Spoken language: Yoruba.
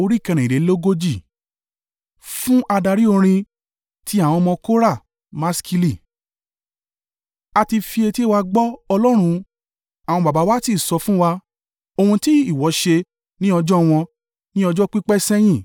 Fún adarí orin. Ti àwọn ọmọ Kora. Maskili. À ti fi etí wa gbọ́, Ọlọ́run; àwọn baba wa tí sọ fún wa ohun tí ìwọ ṣe ní ọjọ́ wọn, ní ọjọ́ pípẹ́ sẹ́yìn.